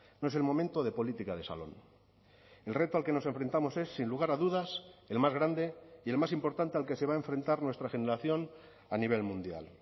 no es el momento de política de salón el reto al que nos enfrentamos es sin lugar a dudas el más grande y el más importante al que se va a enfrentar nuestra generación a nivel mundial